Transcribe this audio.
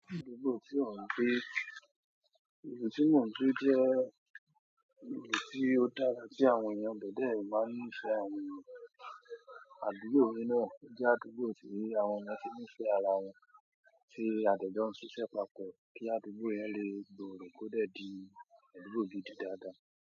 Àdúgbò tí ọ́n ń gbé. Ibi tí mọ́ ń gbé jẹ́ ibi tí ó dára tí àwọn ènìyàn ibẹ̀ de máa ń ní ìfẹ́ ara wọn. Àdúgbò mi na, o jẹ́ àdúgbò tí àwọn èèyàn tí ní ìfẹ́ ara wọn, ti a de jọ ń ṣiṣẹ́ papọ̀ kí àdúgbò yẹn lè gbòrò kó de di àdúgbò gidi daada.